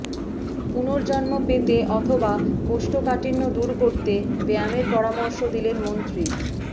পুনর্জন্ম পেতে অথবা কোষ্ঠকাঠিন্য দূর করতে ব্যায়ামের পরামর্শ দিলেন মন্ত্রী